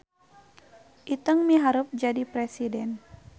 Iteung miharep jadi presiden